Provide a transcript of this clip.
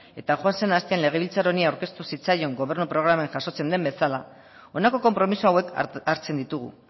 eta joan zen astean legebiltzar honi aurkeztu zitzaion gobernu programan jasotzen den bezala honako konpromiso hauek hartzen ditugu